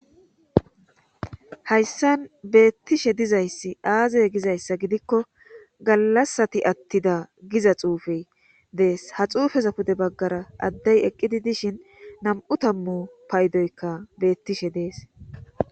hayssan beettishe dizayssi aazey gizayssa gidikko gallasati attida giza xuufey dees ha xuufeza pude baggara addey eqqidi dishin nam7u tammu paydoykka beettishe dees.